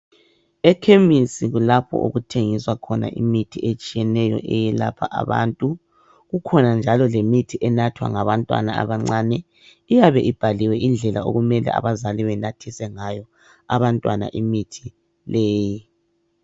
Ekhemisi kulapha okuthengiswa khono imithi etshiyeneyo eyelapha abantu kukhona njalo le mithi enathwa ngabantwana abancane iyabe ibhaliwe indlela abazali okumele benathise ngayo abantwana imithi leyi.